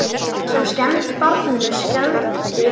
Það sem skemmti barninu skelfdi okkur.